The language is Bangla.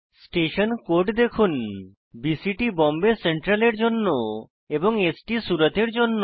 স্টেশন কোড দেখুন বিসিটি বোম্বে সেন্ট্রাল এর জন্য এবং স্ট সুরত এর জন্য